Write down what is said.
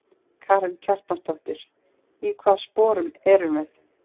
Karen Kjartansdóttir: Í hvaða sporum erum við?